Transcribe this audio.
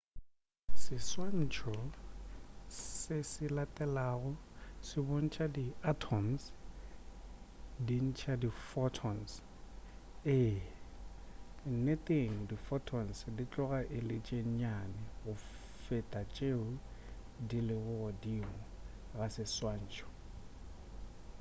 seswantšho se se latelago se bontša di atoms di ntša di photons ee nneteng di photon di tloga e le tše nnyane go feta tšeo di lego godimo ga seswantšho